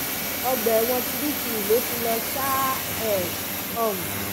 ọgbà ẹ̀wọ̀n kirikiri ló ti lọ ṣáá ẹ̀ um